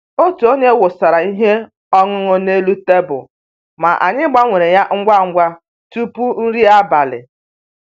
Otu onye wụsara ihe ọṅụṅụ n'elu tebụl, ma anyị gbanwere ya ngwa ngwa tupu nri abalị